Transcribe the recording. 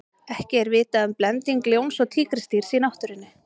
ekki er vitað um blending ljóns og tígrisdýrs í náttúrunni